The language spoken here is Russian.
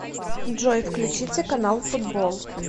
джой включите канал футбол